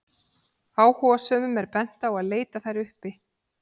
Áhugasömum er bent á að leita þær uppi.